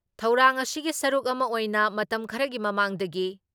ꯊꯧꯔꯥꯡ ꯑꯁꯤꯒꯤ ꯁꯔꯨꯛ ꯑꯃ ꯑꯣꯏꯅ ꯃꯇꯝ ꯈꯔꯒꯤ ꯃꯃꯥꯡꯗꯒꯤ